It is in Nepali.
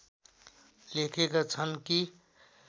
लेखेका छन् कि